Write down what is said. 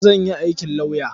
Zan iya aikin lauya.